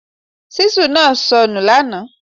Ṣíṣù naa sọ nu lànà